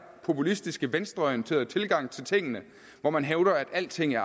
populistiske venstreorienterede tilgang til tingene hvor man hævder at alting er